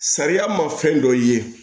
Sariya ma fɛn dɔ ye